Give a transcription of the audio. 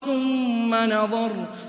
ثُمَّ نَظَرَ